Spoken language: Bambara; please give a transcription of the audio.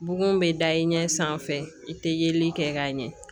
Bugun bɛ da i ɲɛ sanfɛ i tɛ yeli kɛ k'a ɲɛ